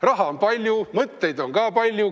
Raha on palju, mõtteid on ka palju.